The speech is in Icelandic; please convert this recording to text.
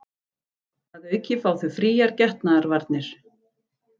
Að auki fá þau fríar getnaðarvarnir